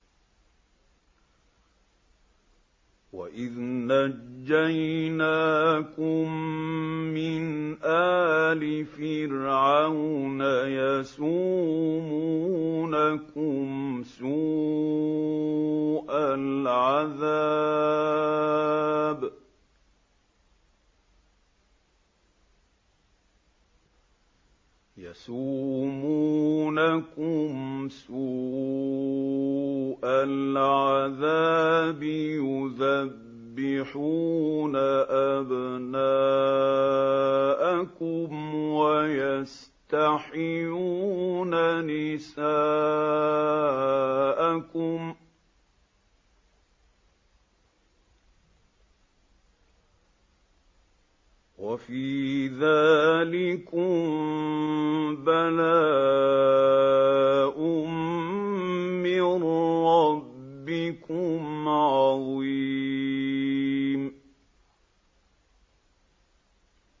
وَإِذْ نَجَّيْنَاكُم مِّنْ آلِ فِرْعَوْنَ يَسُومُونَكُمْ سُوءَ الْعَذَابِ يُذَبِّحُونَ أَبْنَاءَكُمْ وَيَسْتَحْيُونَ نِسَاءَكُمْ ۚ وَفِي ذَٰلِكُم بَلَاءٌ مِّن رَّبِّكُمْ عَظِيمٌ